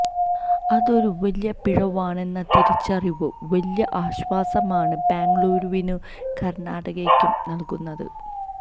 അതൊരു വലിയ പിഴവാണെന്ന തിരിച്ചറിവ് വലിയ ആശ്വാസമാണ് ബെംഗളൂരുവിനും കര്ണാടകയ്ക്കും നല്കുന്നത്